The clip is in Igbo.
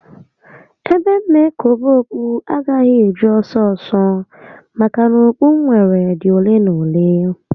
Ebe m na ekobe okpu agaghị eju ọsọ ọsọ maka na okpu m nwere dị ole na ole